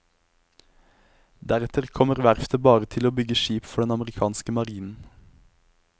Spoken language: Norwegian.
Deretter kommer verftet bare til å bygge skip for den amerikanske marinen.